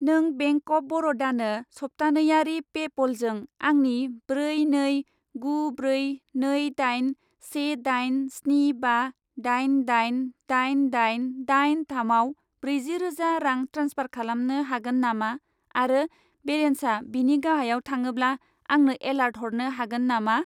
नों bank of बर'दानो सप्तानैयारि पेप'लजों आंनि ब्रै नै गु ब्रै नै दाइन से दाइन स्नि बा दाइन दाइन दाइन दाइन दाइन थामआव ब्रैजि रोजा रां ट्रेन्सफार खालामनो हागोन नामा आरो बेलेन्सा बेनि गाहायाव थाङोब्ला आंनो एलार्ट हरनो हागोन नामा?